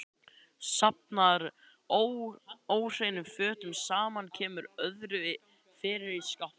Safnar óhreinum fötum saman, kemur öðru fyrir í skápum.